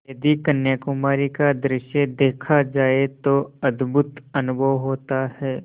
यदि कन्याकुमारी का दृश्य देखा जाए तो अद्भुत अनुभव होता है